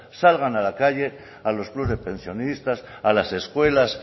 salgan a la calle a los clubs de pensionistas a las escuelas